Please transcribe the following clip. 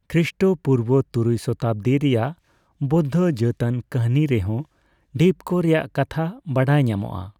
ᱠᱷᱨᱤᱥᱴᱚ ᱯᱩᱨᱵᱚ ᱛᱩᱨᱩᱭ ᱥᱚᱛᱟᱵᱽᱫᱤ ᱨᱮᱭᱟᱜ ᱵᱳᱫᱫᱷᱚ ᱡᱟᱹᱛᱟᱱ ᱠᱟᱹᱦᱱᱤ ᱨᱮᱦᱚᱸ ᱰᱷᱤᱯᱠᱚ ᱨᱮᱭᱟᱜ ᱠᱟᱛᱷᱟ ᱵᱟᱲᱟᱭ ᱧᱟᱢᱚᱜᱼᱟ ᱾